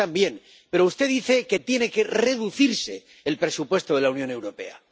usted también, pero usted dice que tiene que reducirse el presupuesto de la Unión Europea.